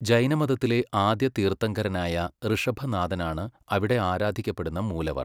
ജൈനമതത്തിലെ ആദ്യ തീർത്ഥങ്കരനായ ഋഷഭനാഥനാണ് അവിടെ ആരാധിക്കപ്പെടുന്ന മൂലവർ.